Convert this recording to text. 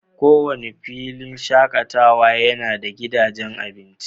Kowane filin shakatawa yana da gidajen abinci.